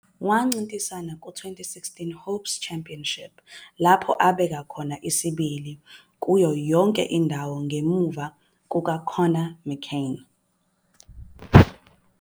Wancintisana ku-2016 HOPES Championship lapho abeka khona isibili kuyo yonke indawo ngemuva kukaKonnor McClain.